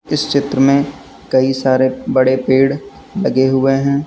इस चित्र में कई सारे बड़े पेड़ लगे हुए हैं।